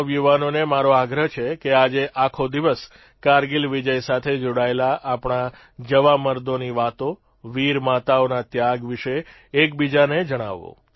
દેશના નવયુવાનોને મારો આગ્રહ છે કે આજે આખો દિવસ કારગીલ વિજય સાથે જોડાયેલા આપણા જવામર્દોની વાતો વીરમાતાઓના ત્યાગ વિષે એકબીજાને જણાવો